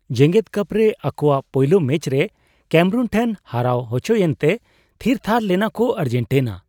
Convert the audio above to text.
ᱡᱮᱜᱮᱫ ᱠᱟᱯ ᱨᱮ ᱟᱠᱚᱣᱟᱜ ᱯᱳᱭᱞᱳ ᱢᱮᱹᱪ ᱨᱮ ᱠᱮᱹᱢᱮᱨᱩᱱ ᱴᱷᱮᱱ ᱦᱟᱨᱟᱣ ᱦᱚᱪᱚᱭᱮᱱᱛᱮ ᱛᱷᱤᱨᱛᱷᱟᱨ ᱞᱮᱱᱟ ᱠᱚ ᱟᱨᱡᱮᱱᱴᱤᱱᱟ ᱾